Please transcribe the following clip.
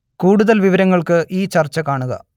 കൂടുതൽ വിവരങ്ങൾക്ക് ഈ ചർച്ച കാണുക